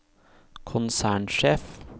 konsernsjef